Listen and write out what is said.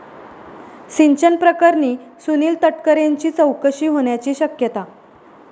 सिंचन प्रकरणी सुनिल तटकरेंची चौकशी होण्याची शक्यता